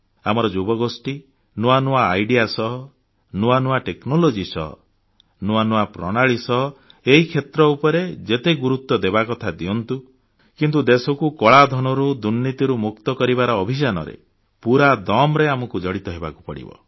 ଆମର ଯୁବଗୋଷ୍ଠୀ ନୂଆ ନୂଆ ଭାବନା ଓ ଚିନ୍ତନ ସହ ନୂଆ ନୂଆ ଟେକ୍ନୋଲୋଜି ସହ ନୂଆ ନୂଆ ପ୍ରଣାଳୀ ସହ ଏହି କ୍ଷେତ୍ର ଉପରେ ଯେତେ ଗୁରୁତ୍ୱ ଦେବାକଥା ଦିଅନ୍ତୁ କିନ୍ତୁ ଦେଶକୁ କଳାଧନରୁ ଦୁର୍ନୀତିରୁ ମୁକ୍ତ କରିବାର ଅଭିଯାନରେ ପୁରା ଦମ୍ ରେ ଆମକୁ ଜଡ଼ିତ ହେବାକୁ ପଡ଼ିବ